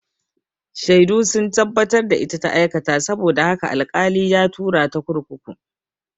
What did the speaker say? Shaidu sun tabbatar da ita ta aikata saboda haka al-kali ya tura ta kurkuku